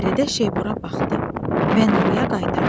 Fəridə şeypura baxdı və Nuraya qaytardı.